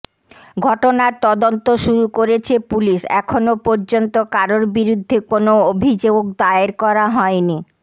ঘটনার তদন্ত শুরু করেছে পুলিশ এখনও পর্যন্ত কারোর বিরুদ্ধে কোনও অভিযোগ দায়ের করা হয়নি